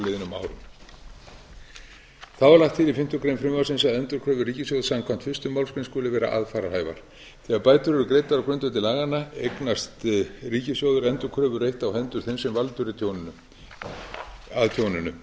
á liðnum árum þá er lagt til í fimmtu grein frumvarpsins að endurkröfur ríkissjóðs samkvæmt fyrstu málsgrein skuli vera aðfararhæfar þegar bætur eru greiddar á grundvelli laganna eignast ríkissjóður endurkröfurétt á hendur þeim sem valdur er að tjóninu